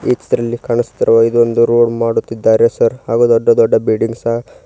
ಈ ಚಿತ್ರದಲ್ಲಿ ಕಾಣಿಸುತ್ತಿರುವ ಇದೊಂದು ರೋಡ್ ಮಾಡುತ್ತಿದ್ದಾರೆ ಸರ್ ಹಾಗು ದೊಡ್ಡ ದೊಡ್ಡ ಬಿಲ್ಡಿಂಗ್ ಸಾ--